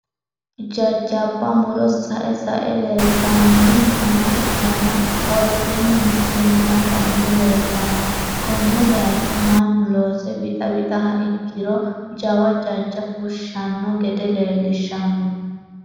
jajabba muro sa'e sa'e leeltanni nooha ikkanna, woroseennino shiimmaadda muro leeltanno, konne bayiicho mannu loose wixa wixiha ikkiro jawa jajja fushshanno gede leelishanno.